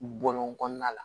Bɔlɔn kɔnɔna la